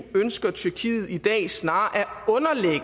ønsker tyrkiet i dag snarere